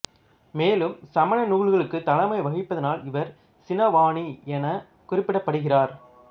மேலும் சமண நூல்களுக்குத் தலைமை வகிப்பதனால் இவர் சினவாணி எனக் குறிப்பிடப்படுகிறார்